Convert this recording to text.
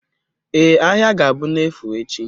Ee, ahịa ga-abụ n'efu echi